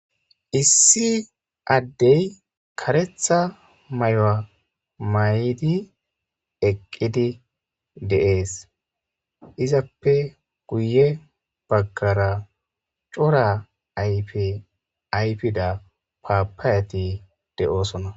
issi addey karetha may7o may77di eqqidi deees izappe guye baggara cora ayfi aypida paapayati de7oosona